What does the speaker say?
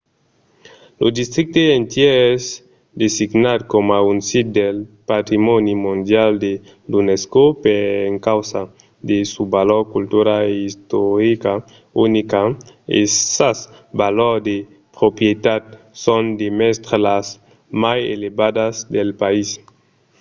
lo districte entièr es designat coma un sit del patrimòni mondial de l’unesco per encausa de sa valor cultura e istorica unica e sas valors de proprietat son demest las mai elevadas del país